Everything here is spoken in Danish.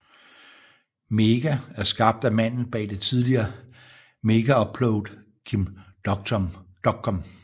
MEGA er skabt af manden bag det tidligere Megaupload Kim Dotcom